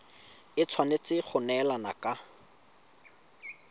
e tshwanetse go neelana ka